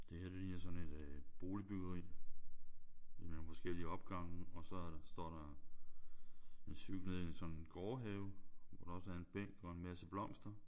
Det her det ligner sådan et øh boligbyggeri med nogle forskellige opgange og så står der en cykel nede i sådan en gårdhave hvor der også er en bænk og en masse blomster